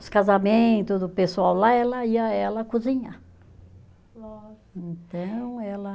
Os casamentos do pessoal lá, ela ia ela cozinhar. Então ela